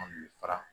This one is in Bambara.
An bɛ fara